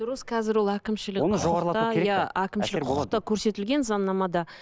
дұрыс қазір ол әкімшілік әкімшілік құқықта көрсетілген заңнамада